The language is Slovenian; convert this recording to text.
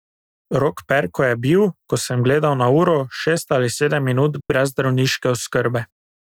Rok Perko je bil, ko sem gledal na uro, šest ali sedem minut brez zdravniške oskrbe.